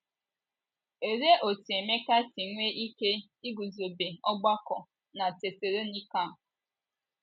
Olee otú Emeka si nwee ike iguzobe ọgbakọ na Tesalonaịka?